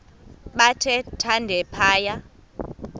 bathe thande phaya